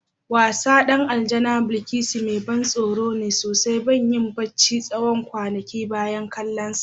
Wassan din Aljana Bilkisu mai ban tsoro ne sosai, ban yi barci na tsawon kwanaki bayan kallonsa.